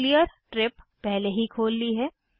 मैंने Cleartrip पहले ही खोल ली है